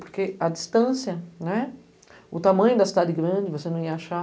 Porque a distância, o tamanho da cidade grande, você não ia achar.